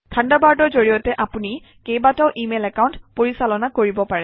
থাণ্ডাৰবাৰ্ডৰ জৰিয়তে আপুনি কেইবাটাও ইমেইল একাউণ্ট পৰিচালনা কৰিব পাৰে